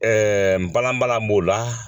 n balanbalan b'o la